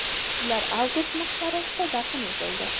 Ular Avgust maqbarasida dafn etildi.